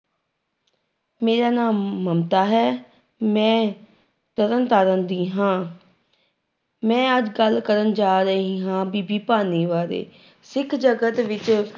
ਮੇਰਾ ਨਾਮ ਮਮਤਾ ਹੈ ਮੈਂ ਤਰਨ ਤਾਰਨ ਦੀ ਹਾਂ ਮੈਂ ਅੱਜ ਗੱਲ ਕਰਨ ਜਾ ਰਹੀ ਹਾਂ ਬੀਬੀ ਭਾਨੀ ਬਾਰੇ, ਸਿੱਖ ਜਗਤ ਵਿੱਚ